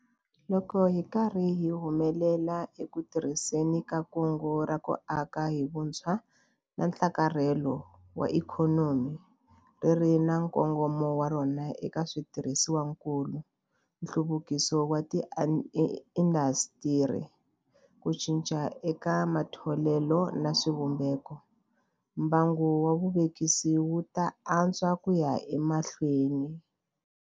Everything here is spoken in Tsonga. Loko hi ri karhi hi humelela eku tirhiseni ka Kungu ra ku Aka hi Vutshwa na Nhlakarhelo wa Ikhonomi, ri ri na nkongomo wa rona eka switirhisiwakulu, nhluvukiso wa tiindasitiri, ku cinca eka matholelo na swivumbeko, mbangu wa vuvekisi wu ta antswa ku ya emahlweni.